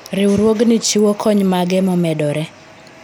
riwruogni chiwo kony mage momedore ?